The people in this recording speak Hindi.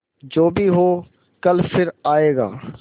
जो भी हो कल फिर आएगा